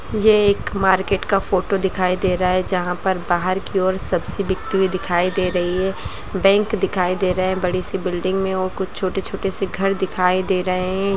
मुझे एक मार्केट का फोटो दिखाई दे रहा है जहाँ पर बाहर की ओर सब्जी बिकती हुई दिखाई दे रही है बैंक दिखाई दे रहे हैं बड़ी-सी बिल्डिंग में और कुछ छोटे-छोटे से घर दिखाई दे रहे हैं।